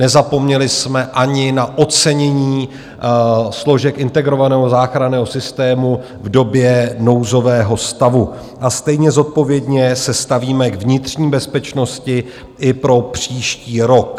Nezapomněli jsme ani na ocenění složek integrovaného záchranného systému v době nouzového stavu a stejně zodpovědně se stavíme k vnitřní bezpečnosti i pro příští rok.